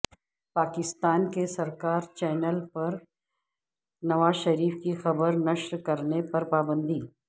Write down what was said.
پاکسان کے سرکاری چینل پر نواز شریف کی خبر نشر کرنے پر پابندی